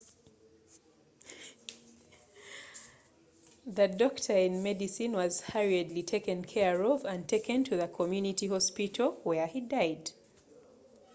mangu ddala yafibwaako omukozi webyeddagala webaddukira natwalibwa mu dwaliro ly'okukitundu oluvanyuma gyeyafiira